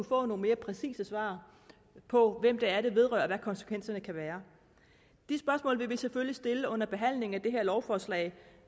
få nogle mere præcise svar på hvem det er det vedrører og hvad konsekvenserne kan være de spørgsmål vil vi selvfølgelig stille under behandlingen af lovforslaget